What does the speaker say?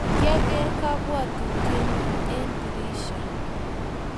kiageer kapwotutie nyuu en dirisha